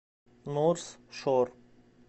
норс шор